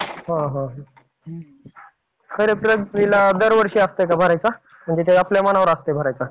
हा हा. खरीप, रब्बीला दरवर्षी असतंय का भरायचा? म्हणजे काही आपल्या मनावर असतं भरायचा.